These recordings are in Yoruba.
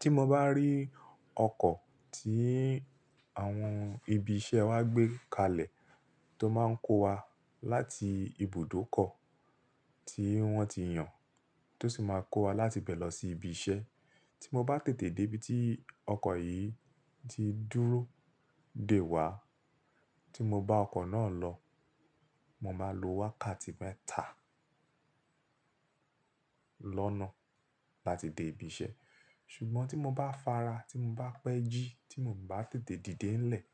Tí mo bá rí ọkọ̀ tí àwọn ibi iṣẹ́ wa gbé kalẹ̀ tó máa ń kó wa láti ibùdókọ̀ tí wọ́n ti yàn, tó sì máa kó wa láti ibẹ̀ lọ sí ibi iṣẹ́. Tí mo bá tètè dé ibi tí ọkọ̀ yìí ti dúró dè wá, tí mo bá ọkọ̀ náà lọ, mo máa lo wákàtí mẹ́ta lọ́nà láti dé ibi iṣẹ́. Ṣùgbọ́n tí mo bá fara, tí mo bá pẹ́ jí, tí mo n bá tètè dìde ńlẹ̀,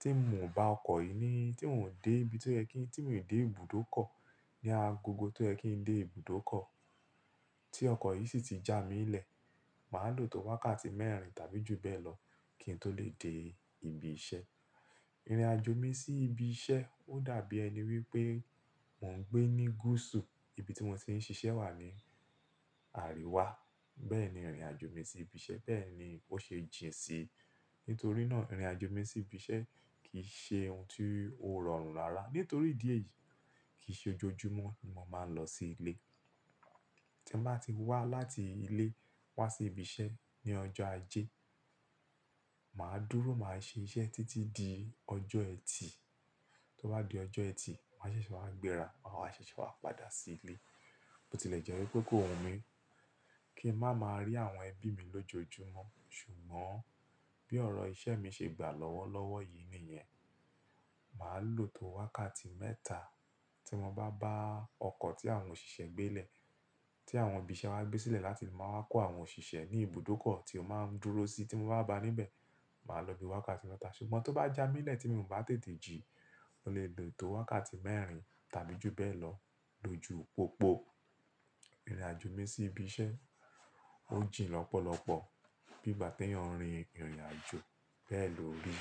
tí mò bá ọkọ̀ yìí ní, tí n ò dé ibi tó yẹ kí n, tí n ò dé ibùdókọ̀ ní agogo tó yẹ kí n dé ibùdókọ̀, tí ọkọ̀ yìí sì ti já mi lẹ̀, màá lò tó wákàtí mẹ́rin tàbí jù bẹ́ẹ̀ lọ kí n tó lè dé ibi iṣẹ́. Irinàjò mi sí ibi iṣẹ́ ó dàbí ẹni wípé mò ń gbé ní gúúsù ibi tí mo ti ń ṣiṣẹ́ wà ní àríwá. Bẹ́ẹ̀ ni ìrìnàjò mi sí ibi iṣẹ́, bẹ́ẹ̀ ni ó ṣe jìn si. Nítorí náà ìrìnàjò mi sí ibi iṣẹ́ kìí ṣe ohun tó rọrùn rárá. Nítorí ìdí èyí kii ṣe ojoojúmọ́ ni mo máa ń lọ sí ilé. Tí n bá ti wá láti ilé wá sí ibi iṣẹ́ ní ọjọ́ ajé, màá dúró, màá ṣe iṣẹ́ títí di ọjọ́ ẹtì. Tó bá di ọjọ́ ẹtì, màá ṣẹ̀ṣẹ̀ wá gbéra, maawa ṣẹ̀ṣẹ̀ wá padà sí ilé. Bo tilẹ̀ jẹ́ wípé kó wunmi kí n máa máa rí àwọn ẹbí mi lójoojúmọ́. Ṣùgbọ́n bí ọ̀rọ̀ iṣẹ́ mi ṣe gbà lọ́wọ́lọ́wọ́ yìí nìyẹn, màá lò tó wákàtí mẹ́ta tí mo bá bá ọkọ̀ tí àwọn òṣìṣẹ́ gbé lè, tí àwọn ibi iṣẹ́ wa gbé sílẹ̀ láti máa wá kó àwọn òṣìṣẹ́ ní ibùdókọ̀ tí ó máa ń dúró sí. Tí mo bá bá a níbẹ̀, màá lọ bíi wákàtí mẹ́ta. Ṣùgbọ́n tó bá já mi lẹ̀ tí mò bá tètè jí, mo lè lò tó wákàtí mẹ́rin tàbí jù bẹ́ẹ̀ lọ. Lójú pópó, ìrìnàjò mi sí ibi iṣẹ́ ó jìn lọ́pọ̀lọpọ̀. Bi igbá t'eeyàn rin ìrìnàjò bẹ́ẹ̀ lò rí.